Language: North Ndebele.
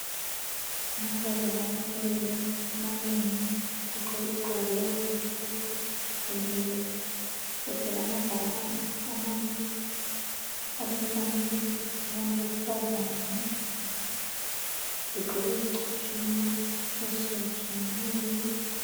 Amankazana amileyo amanengi egqoke izigqoko ezimhlophe bemile bethwele amabhakane amane alemfanekiso abantu besifazane begqoke izicathulo ezitshiyatshiyeneyo